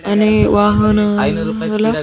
అనే వాహనాల.